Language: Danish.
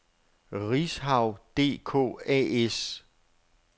Rishaug DK A/S